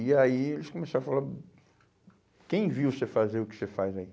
E aí eles começaram a falar, quem viu você fazer o que você faz aí?